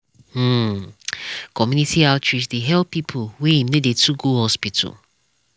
hmmcommunity outreach dey help people wey em no dey too go hospital.